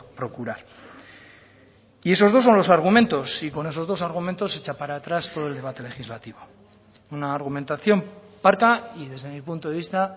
procurar y esos dos son los argumentos y con esos dos argumentos echa para atrás todo el debate legislativo una argumentación parca y desde mi punto de vista